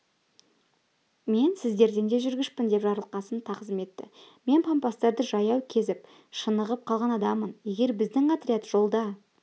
мен сізден де жүргішпін деп жарылқасын тағзым етті мен пампастарды жаяу кезіп шынығып қалған адаммын егер біздің отряд жолда